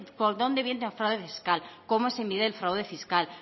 por dónde viene el fraude fiscal cómo se mide el fraude fiscal